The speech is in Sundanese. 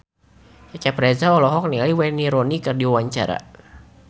Cecep Reza olohok ningali Wayne Rooney keur diwawancara